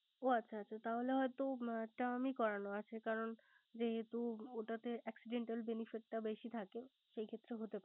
ও আচ্ছা আচ্ছা তাহলে হয়ত Term ই করানো আছে করান, যেহেতু ওটাতে accidental benefit টা বেশি থাকে